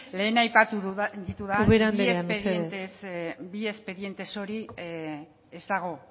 lehen aipatu ditudan ubera anderea mesedez bi espedientez hori ez dago